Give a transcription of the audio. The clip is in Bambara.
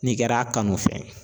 N'i kɛra a kanu fɛn ye